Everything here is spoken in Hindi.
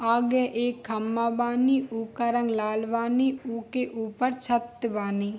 आगे एक खंभा वानी उ का रंग लाल वानी उ के ऊपर छत वानी।